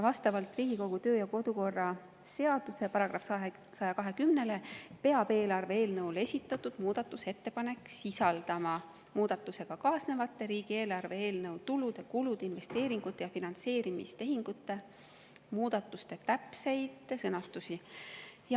Vastavalt Riigikogu kodu‑ ja töökorra seaduse §‑le 120 peab eelarve eelnõu kohta esitatud muudatusettepanek sisaldama muudatusega kaasnevate riigieelarve eelnõu tulude, kulude, investeeringute ja finantseerimistehingute muudatuste täpseid sõnastusi.